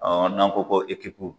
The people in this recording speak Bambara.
Ɔ an nan ko ko ekipu